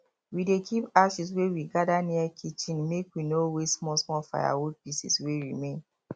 we dey keep ashes wey we gather near kitchen make we no waste small small firewood pieces wey remain